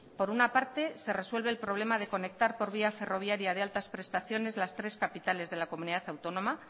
por una parte se resuelve el problema de conectar por vía ferroviaria de altas prestaciones las tres capitales de la comunidad autónoma